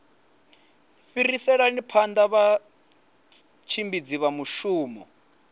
fhiriselani phanda vhatshimbidzi vha mushumo